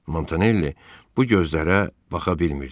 Montanelli bu gözlərə baxa bilmirdi.